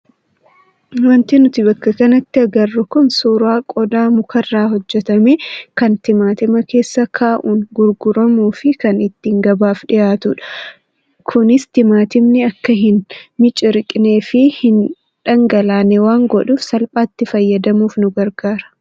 Wanti nuti bakka kanatti agarru kun suuraa qodaa mukarraa hojjatame kan timaatima keessa kaa'uun gurguramuu fi kan itti gabaaf dhiyaatudha Kunis timaatimni akka hin miciriqnee fi hin dhangalaane waan godhuuf salphaatti fayyadamuuf nu gargaara.